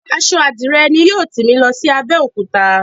Aṣọ Àdirẹ ni yóò tì mí lọ sí Abẹ́òkúta.